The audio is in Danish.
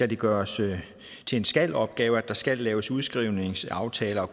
det gøres til en skal opgave at der skal laves udskrivningsaftaler og